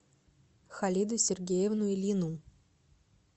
халиду сергеевну ильину